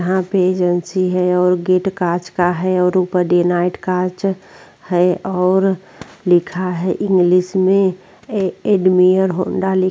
यहाँ पे एजंसी है और गेट काँच का है और ऊपर डे नाईट काँच है और लिखा है इंग्लिश में ए एडमियर हौंडा लिखा --